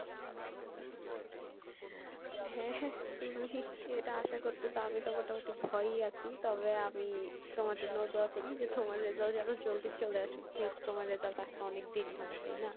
হ্যাঁ তুমি এটা আশা করতেসো, আমি তো মোটামোটি ভয়এ আসি তবে আমি তোমার জন্য দোয়া করি যে তোমার result যেনো জলদি চলে আসুক যেহেতু তোমার result আসতে অনেক দেরি হয় তাই না?